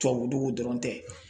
Tubabu dugu dɔrɔn tɛ